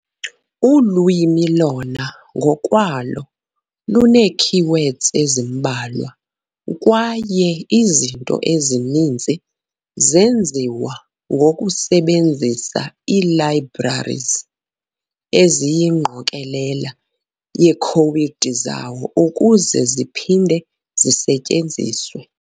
Ulwimi lona ngokwalo lunee-keywords ezimbalwa, kwaye izinto ezininzi zenziwa zenziwa ngokusebenzisa ii-libraries, eziyingqokolela yekhowudi zazo ukuze ziphinde zisetyenziswe.